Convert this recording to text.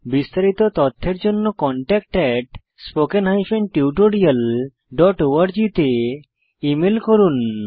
বিস্তারিত তথ্যের জন্য contactspoken tutorialorg তে ইমেল করুন